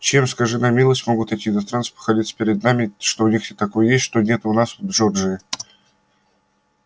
чем скажи на милость могут эти иностранцы похвалиться перед нами что у них там такое есть чего нет у нас в джорджии